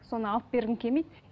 соны алып бергің келмейді